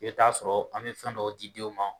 I bɛ t'a sɔrɔ an mi fɛn dɔ di denw ma